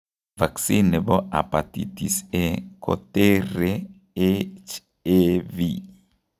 Vaccine nebo hepatitis A koteree HAV